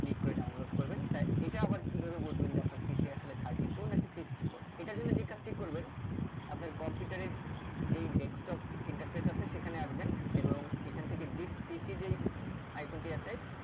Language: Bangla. click করে download করবেন তা এটা আবার কিভাবে বুজবেন যে আপনার PC আসলে খাঁটি এটাই নাকি sixty four এটার জন যে কাজ করবেন আপনার computer এর যে desktop interface আছে সেখানে আসবেন এবং এইখান থেকে thisPC যে icon টি আছে